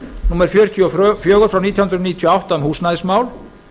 númer fjörutíu og fjögur nítján hundruð níutíu og átta um húsnæðismál